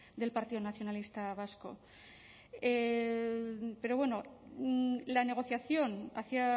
del partido nacionalista vasco pero bueno la negociación hacía